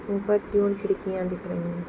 ऊपर की और खिड़कियां दिख रही है।